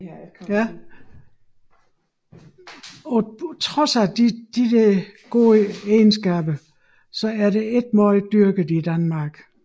Trods disse gode egenskaber er det ikke meget dyrket i Danmark